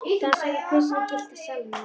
Dansaði við prinsinn í Gyllta salnum á